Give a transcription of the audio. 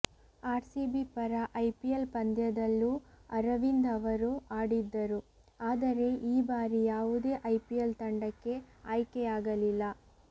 RCB ಪರ IPL ಪಂದ್ಯದಲ್ಲೂ ಅರವಿಂದ್ ಅವರು ಆಡಿದ್ದರು ಆದರೆ ಈ ಬಾರಿ ಯಾವುದೇ ಐಪಿಎಲ್ ತಂಡಕ್ಕೆ ಆಯ್ಕೆ ಆಗಲಿಲ್ಲ